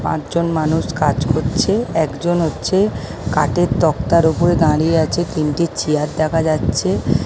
পাঁচজন মানুষ কাজ করছে একজন হচ্ছে কাঠের তক্তার ওপরে দাঁড়িয়ে আছে তিনটি চেয়ার দেখা যাচ্ছে--